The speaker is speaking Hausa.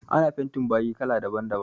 Ana fentin bayi kala daban daban